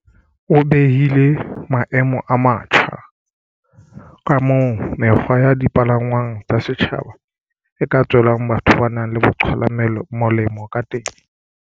O behile maemo a matjha mabapi le kamoo mekgwa ya di palangwang tsa setjhaba e ka tswelang batho ba nang le bo qhwala molemo kateng.